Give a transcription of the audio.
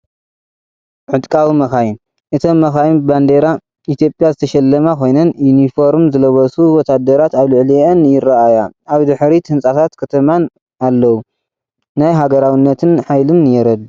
ዕጥቃዊ መካይን ፣ እተን መካይን ብባንዴራ ኢትዮጵያ ዝተሸለማ ኮይነን፡ ዩኒፎርም ዝለበሱ ወተሃደራት ኣብ ልዕሊአን ይረኣያ። ኣብ ድሕሪት ህንጻታት ከተማን ኣለዉ። ናይ ሃገራውነትን ሓይልን የርድእ።